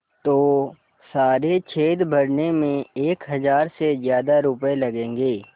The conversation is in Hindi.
तो सारे छेद भरने में एक हज़ार से ज़्यादा रुपये लगेंगे